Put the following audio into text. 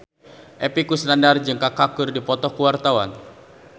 Epy Kusnandar jeung Kaka keur dipoto ku wartawan